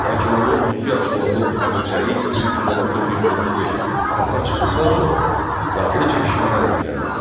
Lakin onun 12 yaşlı oğlu Əbu Səid 1316-1335 taxta çıxdıqdan sonra daxili çəkişmələr gücləndi.